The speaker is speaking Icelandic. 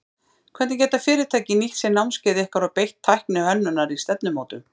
Hvernig geta fyrirtæki nýtt sér námskeið ykkar og beitt tækni hönnunar í stefnumótun?